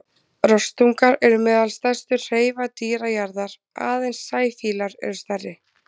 Rostungar eru meðal stærstu hreifadýra jarðar, aðeins sæfílar eru stærri.